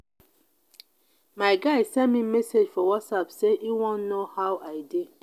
my guy send me message for whatsapp sey e wan know how i dey.